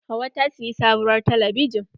Hauwa ta siyi sabuwar talabijin.